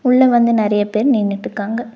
உள்ள வந்து நறைய பேர் நின்னுட்டுக்காங்க.